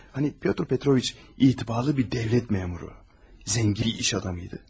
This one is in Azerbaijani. Hani Pyotr Petroviç etibarlı bir dövlət məmuru, zəngin iş adamıydı.